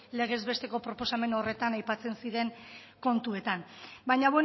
legez besteko proposamen horretan aipatzen ziren kontuetan baina